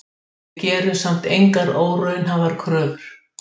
Við gerum samt engar óraunhæfar kröfur